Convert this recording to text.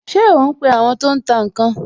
Ṣé o ń pe àwọn tó ń tà ǹ kan?